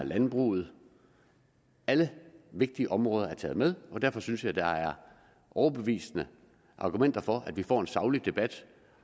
landbruget alle vigtige områder er taget med og derfor synes jeg at der er overbevisende argumenter for at vi får en saglig debat